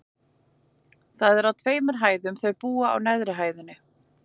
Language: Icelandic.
Það er á tveimur hæðum, og þau búa á neðri hæðinni.